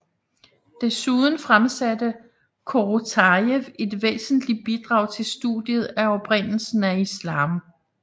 Desuden fremsatte Korotajev et væsentligt bidrag til studiet af oprindelsen af Islam